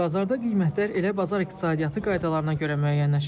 Bazarda qiymətlər elə bazar iqtisadiyyatı qaydalarına görə müəyyənləşir.